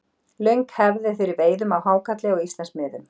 Löng hefð er fyrir veiðum á hákarli á Íslandsmiðum.